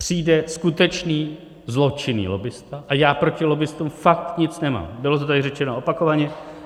Přijde skutečný zločinný lobbista - a já proti lobbistům fakt nic nemám, bylo to tady řečeno opakovaně.